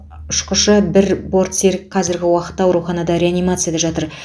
ұшқышы бір бортсерік қазіргі уақытта ауруханада реанимацияда жатыр